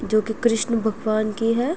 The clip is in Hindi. जो कि कृष्ण भगवान की है।